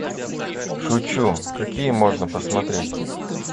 шучу какие можно посмотреть